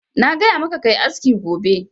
Na gaya ma ka yi aski gobe!